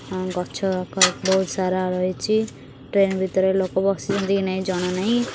ମ ଗଛ କ ବହୁତ ସାରା ରହିଚି ଟ୍ରେନ୍ ଭିତରେ ଲୋକ ବସିଛନ୍ତି କି ନାହିଁ ଜଣା ନାହିଁ ।